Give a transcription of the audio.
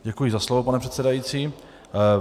Děkuji za slovo, pane předsedající.